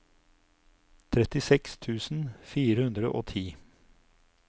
trettiseks tusen fire hundre og ti